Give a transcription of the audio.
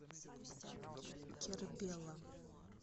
кербела